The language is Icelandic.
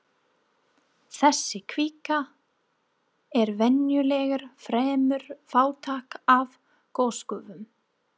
Þessi kvika er venjulega fremur fátæk af gosgufum.